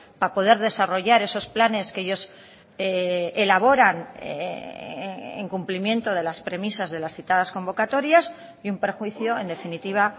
para poder desarrollar esos planes que ellos elaboran en cumplimiento de las premisas de las citadas convocatorias y un perjuicio en definitiva